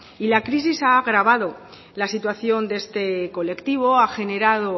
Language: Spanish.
y la crisis ha agravado la situación de este colectivo ha generado